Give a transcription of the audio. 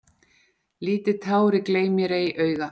Lítið tár í gleym-mér-ei-auga.